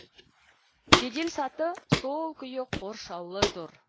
жеделсаты сол күйі қоршаулы тұр